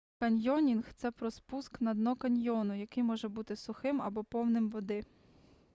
каньйонінг це про спуск на дно каньйону який може бути сухим або повним води